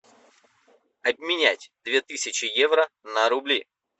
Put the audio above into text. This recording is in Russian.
обменять две тысячи евро на рубли